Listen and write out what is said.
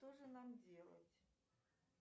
что же нам делать